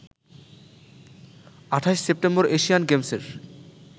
২৮ September Asian গেমসের